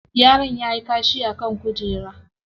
Yaron yayi kashi a kan kujera.